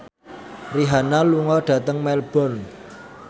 Rihanna lunga dhateng Melbourne